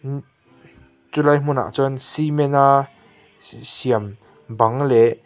chu lai hmun ah chuan cement a siam bang leh--